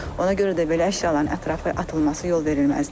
Ona görə də belə əşyaların ətrafı atılması yol verilməzdir.